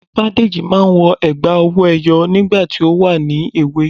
Ifádẹ́jì máa n wọ ègbá owó eyó nígbà tí o wà ní èwè